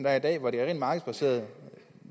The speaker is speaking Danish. er i dag hvor det er rent markedsbaseret